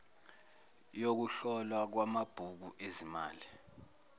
yokuhlolwa kwamabhuku ezimali